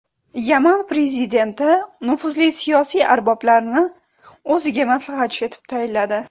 Yaman prezidenti nufuzli siyosiy arboblarni o‘ziga maslahatchi etib tayinladi.